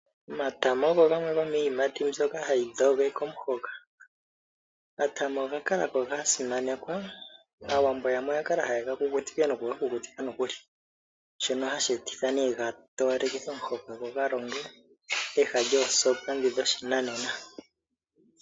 Omatama ogo gomiiyimati mbyoka hayi dhogeke omuhoka. Omatama oga kala ko gasimanekwa, aawambo yamwe oyakala haye gakukutike nokugakukutika nokuli, shono hashi etitha ne gatowalekithe omuhoka gogalonge peha lyoosoopa dhi dhoshinanena.